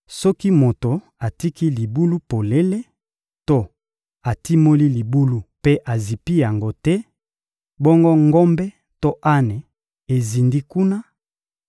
Soki moto atiki libulu polele to atimoli libulu mpe azipi yango te, bongo ngombe to ane ezindi kuna;